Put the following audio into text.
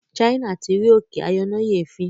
China tí rí òkè ayọnáyèéfín